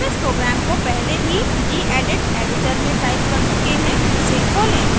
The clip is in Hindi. हम इस प्रोग्राम को पहले ही gedit एडिटर में टाइप कर चुके हैं इसे खोलें